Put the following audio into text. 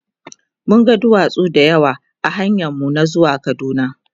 mun ga duwatsu da yawa ahanyan mu na zuwa kaduna